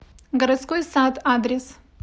городской сад адрес